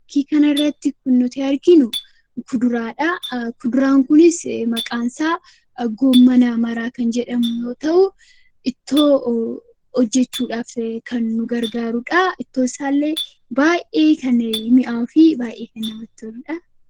Fakii kana irratti kan arginu kuduraadha. Kuduraan Kunis maqaan isaa goommana maraa kan jedhamu yoo ta'u ittoo hojjechuuf kan nu gargaarudha. Ittoon isaas baay'ee kan mi'aawuu fi kan namatti toludha.